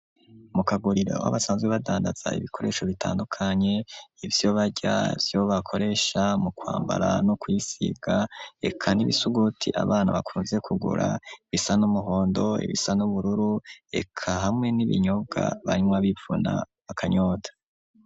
Mu kaguriro, aho basanzwe badandaza, ibikoresho bitandukanye, ivyo barya, ivyo bakoresha, mu kwambara, no kwisiga, eka n'ibisuguti, abana bakunze kugura, bisa n'umuhondo, ibisa n'ubururu, eka hamwe n'ibinyobwa, banywa bivuna, akanyota.